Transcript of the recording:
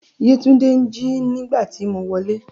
Yetunde n ji nígbàtí mo wolẹ́.